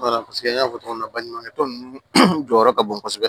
n y'a fɔ cogo min na baɲumankɛ tɔn ninnu jɔyɔrɔ ka bon kosɛbɛ